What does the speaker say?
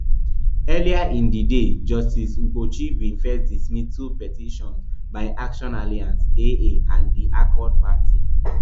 earlier in di day justice kpochi bin first dismiss two petitions by action alliance aa and di accord party